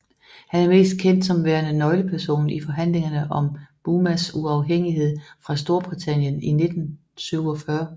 Han er mest kendt som værende nøgleperson i forhandlingerne om Burmas uafhængighed fra Storbritannien i 1947